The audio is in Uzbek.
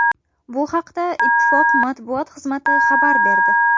Bu haqda Ittifoq matbuot xizmati xabar berdi .